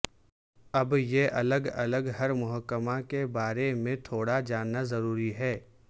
اب یہ الگ الگ ہر محکمہ کے بارے میں تھوڑا جاننا ضروری ہے